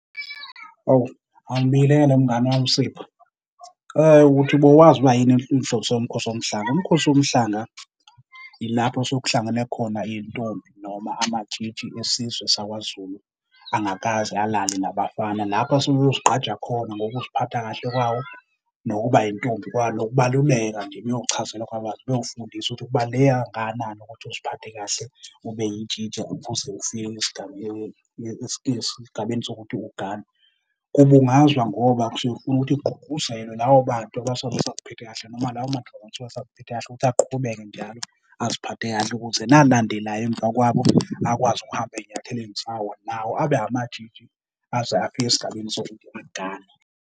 Awu, angibingelele mngani wami, Sipho. Uthi bowazi ukuba yini inhloso yoMkhosi woMhlanga? UMkhosi woMhlanga ilapho osuke kuhlangene khona iy'ntombi noma amatshitshi esizwe sakwaZulu angakaze alale nabafana. Lapho asuke eyozigqaja khona ngokuziphatha kahle kwawo nokuba yintombi kwalo, nokubaluleka nje ukuyochazelwa kabanzi ukuthi kubaluleke kangakanani ukuthi uziphathe kahle, ube yitshintsi ukuze ufike esigabeni sokuthi ugane. Kubungazwa ngoba sifuna ukuthi kugqugquzelwe labo bantu abasuke besaziphethe kahle, noma lawo mantombazane asuke asaziphethe kahle ukuthi aqhubeke njalo aziphathe kahle ukuze nalandelayo emva kwabo akwazi ukuhamba ey'nyathelweni zawo, nawo abe amatshitshi aze afike esigabeni sokuthi agane.